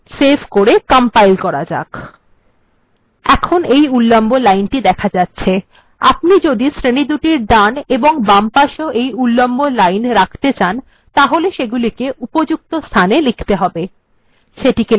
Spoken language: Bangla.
সেভ করে কম্পাইল্ করা যাক এখন উল্লম্ব লাইনটি দেখা যাচ্ছে যদি আপনি শ্রেণীগুলির ডান এবং বাম পাশেও এও এই উল্লম্ব লাইন রাখতে চান তাহলে আপনাকে এগুলিকে উপযুক্ত স্থানে বসাতে হবে